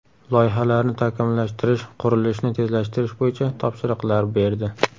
Loyihalarni takomillashtirish, qurilishni tezlashtirish bo‘yicha topshiriqlar berdi.